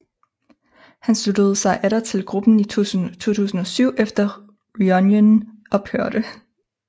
Han sluttede sig atter til gruppen i 2007 efter reunionen ophørte